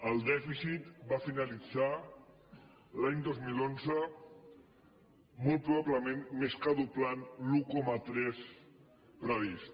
el dèficit va finalitzar l’any dos mil onze molt probablement més que doblant l’un coma tres previst